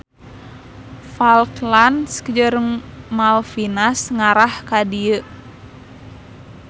Falklands jeung Malvinas ngarah ka dieu.